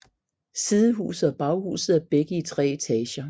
Sidehuset og baghuset er begge i tre etager